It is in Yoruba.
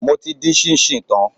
Mo ti dín ṣíńṣíìn tán.